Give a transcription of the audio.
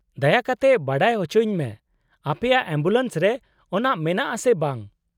-ᱫᱟᱭᱟ ᱠᱟᱛᱮ ᱵᱟᱰᱟᱭ ᱚᱪᱚᱧ ᱢᱮ ᱟᱯᱮᱭᱟᱜ ᱮᱢᱵᱩᱞᱮᱱᱥ ᱨᱮ ᱚᱱᱟ ᱢᱮᱱᱟᱜᱼᱟ ᱥᱮ ᱵᱟᱝ ᱾